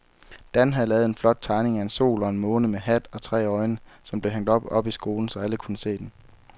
Dan havde lavet en flot tegning af en sol og en måne med hat og tre øjne, som blev hængt op i skolen, så alle kunne se den.